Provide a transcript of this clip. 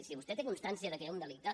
si vostè té constància que hi ha un delicte